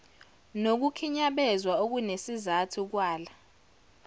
nokukhinyabezwa okunesizathu kwala